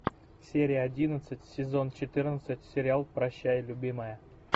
серия одиннадцать сезон четырнадцать сериал прощай любимая